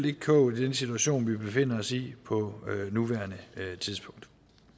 ikke klogt i den situation vi befinder os i på nuværende tidspunkt